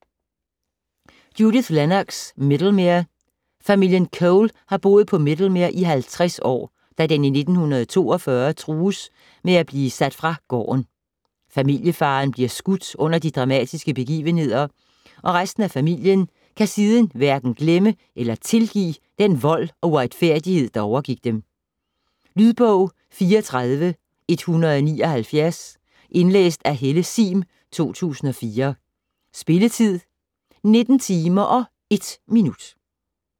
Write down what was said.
Lennox, Judith: Middlemere Familien Cole har boet på Middlemere i 50 år, da den i 1942 trues med at blive sat fra gården. Familiefaderen bliver skudt under de dramatiske begivenheder, og resten af familien kan siden hverken glemme eller tilgive den vold og uretfærdighed, der overgik dem. Lydbog 34179 Indlæst af Helle Sihm, 2004. Spilletid: 19 timer, 1 minutter.